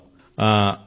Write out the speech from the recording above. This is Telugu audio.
బాగుంది